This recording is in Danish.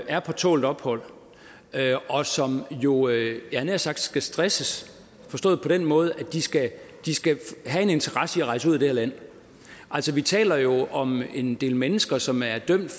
er på tålt ophold og som jo jeg havde nær sagt skal stresses forstået på den måde at de skal de skal have en interesse i at rejse ud af det her land altså vi taler jo om en del mennesker som er dømt